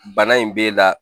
Bana in b'e la